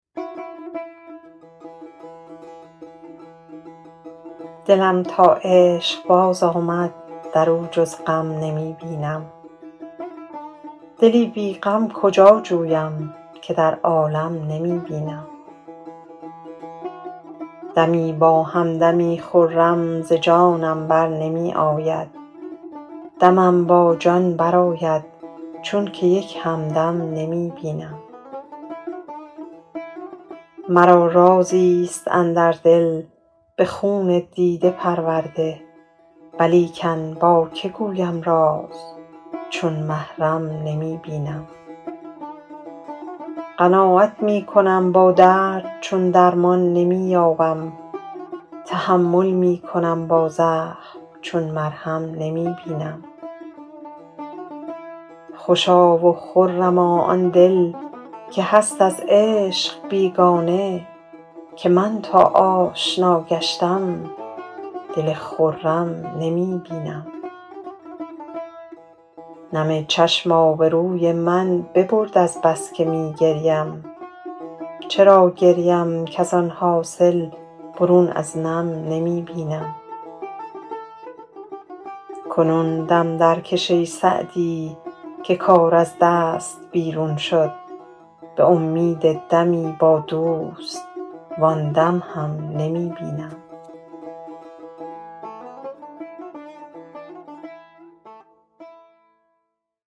دلم تا عشق باز آمد در او جز غم نمی بینم دلی بی غم کجا جویم که در عالم نمی بینم دمی با هم دمی خرم ز جانم بر نمی آید دمم با جان برآید چون که یک هم دم نمی بینم مرا رازی ست اندر دل به خون دیده پرورده ولیکن با که گویم راز چون محرم نمی بینم قناعت می کنم با درد چون درمان نمی یابم تحمل می کنم با زخم چون مرهم نمی بینم خوشا و خرما آن دل که هست از عشق بیگانه که من تا آشنا گشتم دل خرم نمی بینم نم چشم آبروی من ببرد از بس که می گریم چرا گریم کز آن حاصل برون از نم نمی بینم کنون دم درکش ای سعدی که کار از دست بیرون شد به امید دمی با دوست وآن دم هم نمی بینم